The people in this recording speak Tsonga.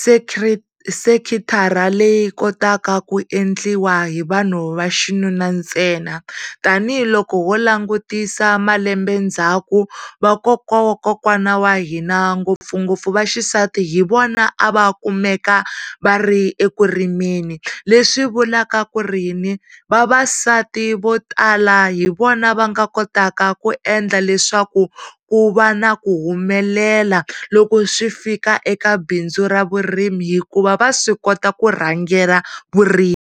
sekiri, sekiritikathara leyi kota ku endliwa hi vanhu va xinuna ntsena tanihiloko wo langutisa malembe ndzhaku vakokwawakokwana wa hina ngopfungopfu va xisati hi vona a va kumeka va ri eku rimeni leswi vulwkw ku ri yini, vavasati vo tala hi vona va nga kotaka ku endla leswaku ku va na ku humelela loko swi fika eka bindzu ra vurimi hikuva va swi kota kurhangela vurimi.